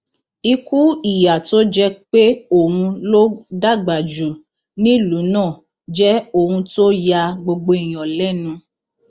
ikú ìyà tó jẹ pé òun ló dàgbà jù nílùú náà jẹ ohun tó ya gbogbo èèyàn lẹnu